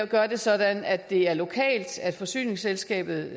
gør det sådan at det er lokalt altså at forsyningsselskabet